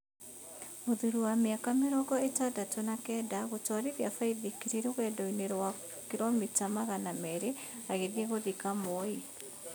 Mũthuri wa mĩaka mĩrongo ĩtandatũ na kenda gũtwarithia baithikiri rũgendo rwa kiromita magana merĩ agĩthiĩ gũthika Moi